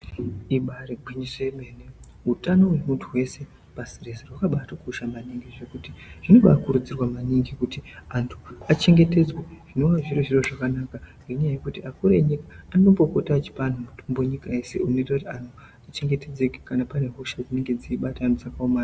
Igwinyiso remene hutano hwemuntu paschi reshe hwakabatokosha maningi zvekuti zvinotobakurudzirwa maningi kuti antu achengetedzwe zvinova zviribazvinhu zvakakosha maningi ngenyaya yekuti akuru enyika anopota achipa antu mutombo nyika yeshe zvinoita kuti anhu achengetedzeke kana paine hosha dzirikubata antu dzakaomarara.